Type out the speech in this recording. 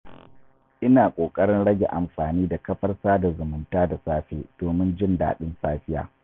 Ina ƙoƙarin rage amfani da kafar sada zumunta da safe domin jin daɗin safiya.